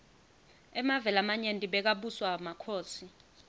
emave lamanyenti bekabuswa makhosi